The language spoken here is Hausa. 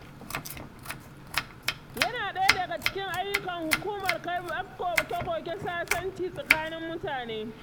Yana ɗaya daga cikin ayyukan hukumar karɓar koke-koke sasanci tsakanin mutane.